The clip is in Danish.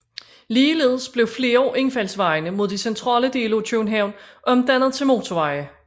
Ligeledes blev flere af indfaldsvejene mod de centrale dele af København omdannet til motorveje